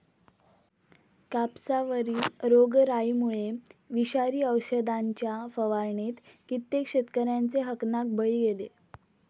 कापसावरील रोगराईमुळे विषारी औषधांच्या फवारणीत कित्येक शेतकऱ्यांचे हकनाक बळी गेले.